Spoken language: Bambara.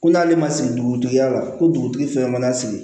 Ko n'ale ma sigi dugutigi ya la ko dugutigi fɛn mana sigi